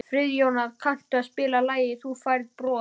Friðjóna, kanntu að spila lagið „Þú Færð Bros“?